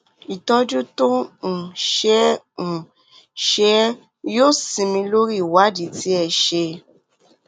ìtọjú tó ń um ṣe é um ṣe é yóò sinmi lórí ìwádìí tí ẹ ṣe